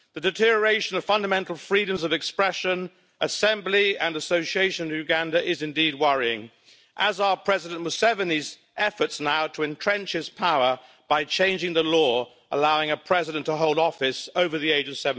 The deterioration of the fundamental freedoms of expression, assembly and association in Uganda is indeed worrying, as are President Museveni's efforts now to entrench his power by changing the law to allow a president to hold office over the age of